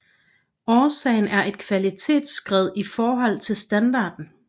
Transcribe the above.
Årsagen er et kvalitetsskred i forhold til standarden